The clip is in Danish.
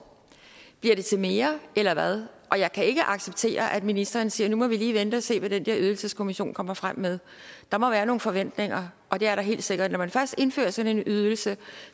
bliver det til mere eller hvad og jeg kan ikke acceptere at ministeren siger at nu må vi lige vente og se hvad den der ydelseskommission kommer frem med der må være nogle forventninger og det er der helt sikkert når man først indfører sådan en ydelse